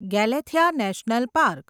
Galathea National park